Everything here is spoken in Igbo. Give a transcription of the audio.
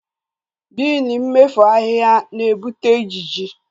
Biini mmefu ahu na-ebute ijiji